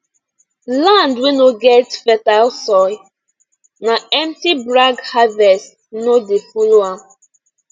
land wey no get fertile soil na empty brag harvest no dey follow am